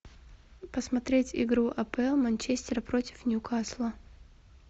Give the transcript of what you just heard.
посмотреть игру апл манчестер против ньюкасла